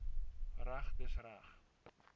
reg dis reg